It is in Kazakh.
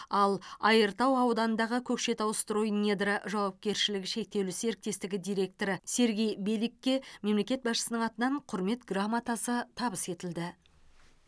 ал айыртау ауданындағы көкшетаустройнедра жауапкершілігі шектеулі серіктестігі директоры сергей беликке мемлекет басшысының атынан құрмет грамотасы табыс етілді